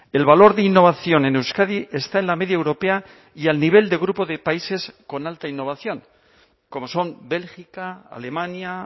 el valor de innovación en euskadi está en la media europea y al nivel de grupo de países con alta innovación como son bélgica alemania